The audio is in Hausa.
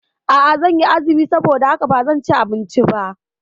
A'a, zanyi azumi saboda haka bazan ci abinci ba